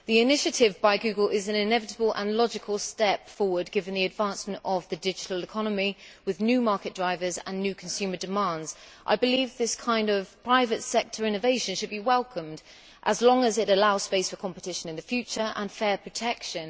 The initiative by Google is an inevitable and logical step forward given the advancement of the digital economy with new market drivers and new consumer demands. I believe this kind of private sector innovation should be welcomed as long as it allows space for competition in the future and fair protection.